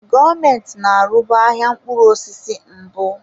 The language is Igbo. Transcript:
Gọọmenti na-arụbu ahịa mkpụrụ osisi mbụ.